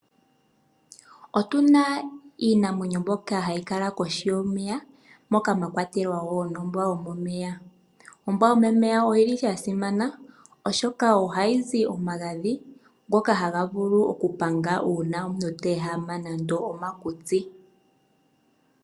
Otuna iinamwenyo mbyoka hayi kala kohi yomeya moka mwakwatelwa ombwa yomomeya. Ombwa yomomeya oyili yasimana oshoka ohayi zi omagadhi ngoka ha ga vulu okupanga omuntu teehama nando omakutsi.